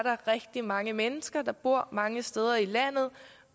rigtig mange mennesker der bor mange steder i landet